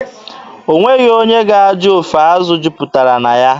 O nweghị onye ga-ajụ ofe azụ jupụtara na ya.